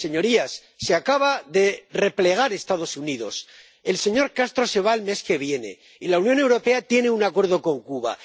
Señorías, se acaban de replegar los Estados Unidos, el señor Castro se va el mes que viene y la Unión Europea tiene un Acuerdo con Cuba.